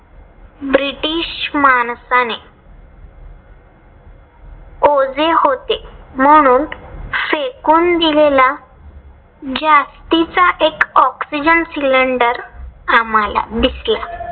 British माणसाने ओझे होते म्हणून फेकून दिलेला जास्तीचा एक ऑक्सिजन cylender आम्हाला दिसला.